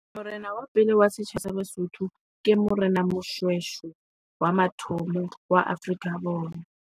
Morena wa pele wa setjhaba sa baSotho ke Morena Moshweshwe, wa mathomo wa Afrika Borwa.